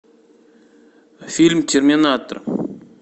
фильм терминатор